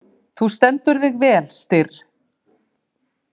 Þú stendur þig vel, Styrr!